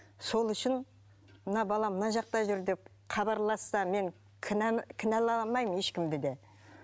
сол үшін мына балаң мына жақта жүр деп хабарласса мен кінәламаймын ешкімді де